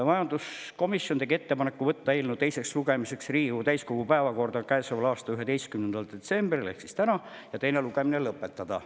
Majanduskomisjon tegi ettepaneku võtta eelnõu teiseks lugemiseks Riigikogu täiskogu päevakorda käesoleva aasta 11. detsembriks ehk tänaseks ja teine lugemine lõpetada.